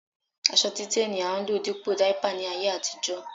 Aṣọ títẹ́ ni a ń lò dípò dáípà ní ayé àtijó